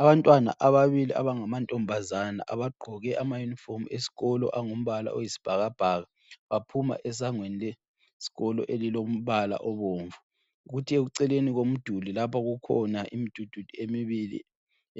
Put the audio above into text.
Abantwana ababili abangamantombazana abagqoke ama yunifomu eskolo angumbala oyisbhakabhaka baphuma esangweni leskolo elilombala obomnvu. Kuthe eceleni komduli lapha kukhona imdudu emibili